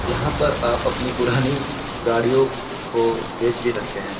यहाँ पर आप अपनी पुरानी गाड़ियों को बेच भी सकते हैं।